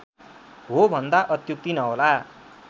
हो भन्दा अत्युक्ति नहोला